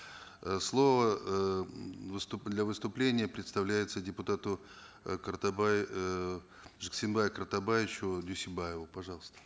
э слово эээ для выступления предоставлется депутату э картабай э жексенбаю картабаевичу дюйсенбаеву пожалуйста